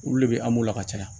Olu de bɛ an b'u la ka caya